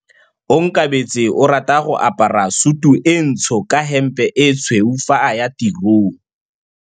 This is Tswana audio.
Onkabetse o rata go apara sutu e ntsho ka hempe e tshweu fa a ya tirong.